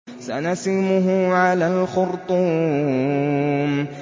سَنَسِمُهُ عَلَى الْخُرْطُومِ